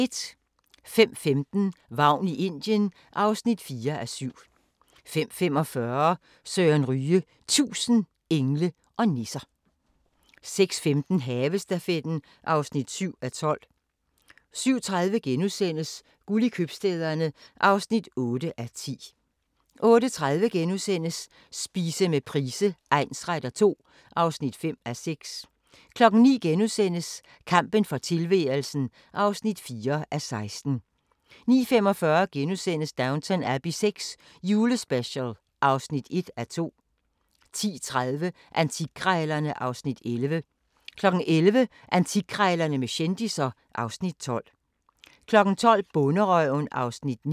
05:15: Vagn i Indien (4:7) 05:45: Søren Ryge – 1000 engle og nisser 06:15: Havestafetten (7:12) 07:30: Guld i købstæderne (8:10)* 08:30: Spise med Price egnsretter II (5:6)* 09:00: Kampen for tilværelsen (4:16)* 09:45: Downton Abbey VI – julespecial (1:2)* 10:30: Antikkrejlerne (Afs. 11) 11:00: Antikkrejlerne med kendisser (Afs. 12) 12:00: Bonderøven (Afs. 9)